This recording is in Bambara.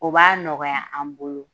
O b'a nɔgɔya an bolo